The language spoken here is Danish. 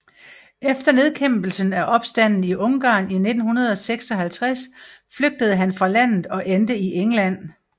Efter nedkæmpelsen af opstanden i Ungarn i 1956 flygtede han fra landet og endte i England